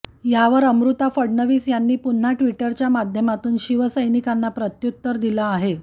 यावर अमृता फडणवीस यांनी पुन्हा ट्विटरच्या माध्यमातून शिवसैनिकांना प्रत्यूत्तर दिले आहे